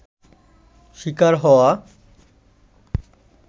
শিকার হওয়া